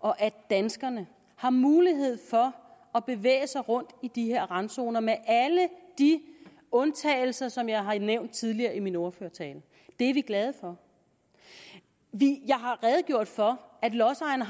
og danskerne har mulighed for at bevæge sig rundt i de her randzoner med alle de undtagelser som jeg har nævnt tidligere i min ordførertale det er vi glade for jeg har redegjort for at lodsejerne